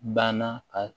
Banna ka